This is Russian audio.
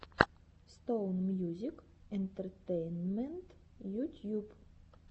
стоун мьюзик энтертейнмент ютьюб